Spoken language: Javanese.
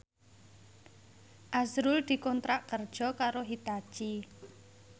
azrul dikontrak kerja karo Hitachi